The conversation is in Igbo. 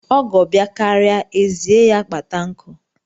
Ọgọ bịakaria, ezie ya kpata nkụ.